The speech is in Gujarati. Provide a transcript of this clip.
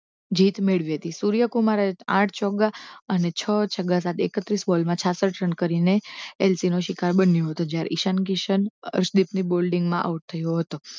જીત મેળવી હતી સૂર્યકુમારે આઠ ચોગ્ગા અને છ છગ્ગા સાથે એક્ત્રીશ બોલમાં છાસઠ રન કરીને એલસી નો શિકાર બન્યો હતો જ્યારે ઈશાન કિસન હર્ષદીપ ની balling માં out થયો હતો